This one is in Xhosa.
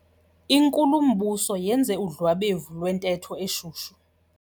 Inkulumbuso yenze udlwabevu lwentetho eshushu.